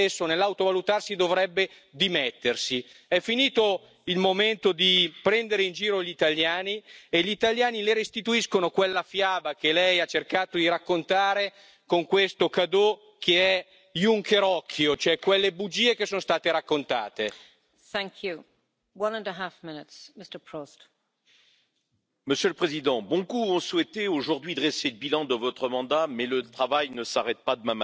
el mundo ha cambiado mucho en quince años. Por ejemplo, no estamos protegidos por la euroorden contra el ciberterrorismo, ni siquiera contra la propaganda terrorista en internet —que usted ha mencionado— o la manipulación de resultados electorales —que usted también ha mencionado—. No están protegidos los datos personales por la euroorden y tampoco está protegido ningún país